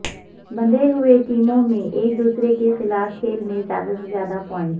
بندھے ہوئے ٹیموں میں ایک دوسرے کے خلاف کھیل میں زیادہ سے زیادہ پوائنٹس